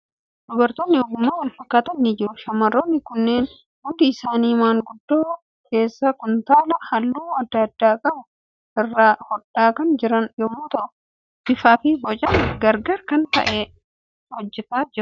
Dubartoonni ogummaa wal fakkaatan ni jiru. Shamarroonni kunneen hundi isaanii gundoo keessaa kuntaalaa halluu adda addaa qabu irraa hodhaa kan jiran yommuu ta'u, bifaa fi boca gara garaa kan qabu hojjechaa jiru.